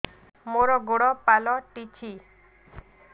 ମୋର ଗୋଡ଼ ପାଲଟିଛି